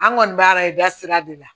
An kɔni b'a la i da sira de la